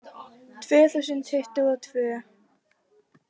Tvö þúsund tuttugu og tvö